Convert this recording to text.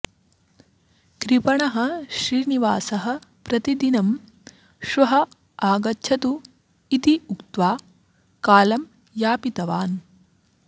कृपणः श्रीनिवासः प्रतिदिनं श्वः आगच्छतु इति उक्त्वा कालम् यापितवान्